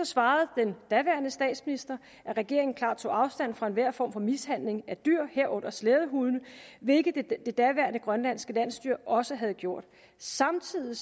svarede den daværende statsminister at regeringen klart tog afstand fra enhver form for mishandling af dyr herunder slædehunde hvilket det daværende grønlandske landsstyre også havde gjort samtidig